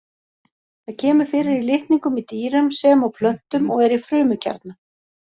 Það kemur fyrir í litningum í dýrum sem og plöntum og er í frumukjarna.